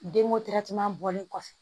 Denko bɔlen kɔfɛ